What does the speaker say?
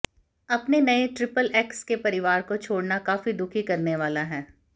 अपने नए triple X के परिवार को छोड़ना काफी दुखी करने वाला है